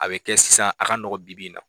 A bɛ kɛ sisan a ka nɔgɔn bi-bi in na